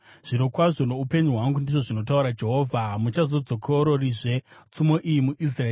“Zvirokwazvo noupenyu hwangu, ndizvo zvinotaura Jehovha, hamuchazodzokororizve tsumo iyi muIsraeri.